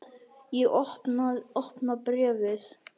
Ég opna bréfið.